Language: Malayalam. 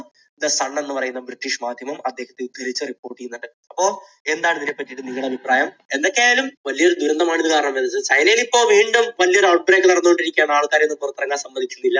ദ സൺ എന്ന് പറയുന്ന ബ്രിട്ടീഷ് മാധ്യമം അദ്ദേഹത്തെ ഉദ്ധരിച്ച് report ചെയ്യുന്നുണ്ട്. അപ്പോൾ എന്താണ് ഇതിനെപ്പറ്റി എന്ന് നിങ്ങളുടെ അഭിപ്രായം? എന്തൊക്കെയായാലും വലിയ ഒരു ദുരന്തമാണ് ഇത് കാരണം ഉണ്ടായത്. ചൈനയിൽ ഇപ്പോൾ വീണ്ടും വലിയൊരു outbreak നടന്നുകൊണ്ടിരിക്കുകയാണ് ആൾക്കാരെ ഒന്നും പുറത്തിറങ്ങാൻ സമ്മതിക്കുന്നില്ല